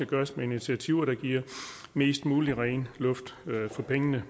gøres med initiativer der giver mest mulig ren luft for pengene